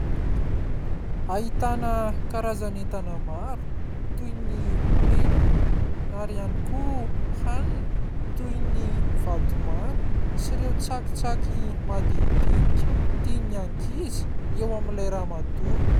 Ahitana karazan'entana maro toy ny penina ary ihany koa hanina toy ny vatomamy sy ireo tsakitsaky madindinika tian'ny ankizy eo amin'ilay ramatoa.